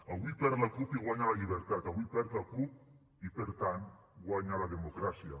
avui perd la cup i guanya la llibertat avui perd la cup i per tant guanya la democràcia